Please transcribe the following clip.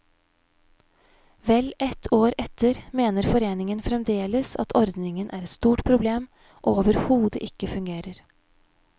Vel ett år etter mener foreningen fremdeles at ordningen er et stort problem og overhodet ikke fungerer.